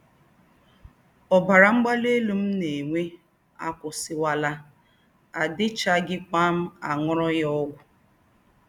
Ọ́bárá mgbalì élú m nà-ènwé àkụ́wúsìwálà, àdì̀chààghíkwà m àṅùrù yá ógwù